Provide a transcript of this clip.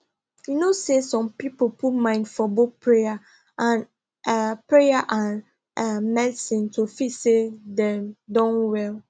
you know say some people put mind for both prayer and ah prayer and ah medicine to feel say dem don well